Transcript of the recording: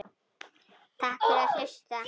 Takk fyrir að hlusta.